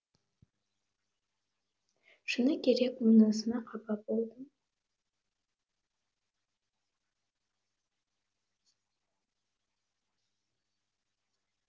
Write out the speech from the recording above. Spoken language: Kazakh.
шыны керек бұнысына қапа болдым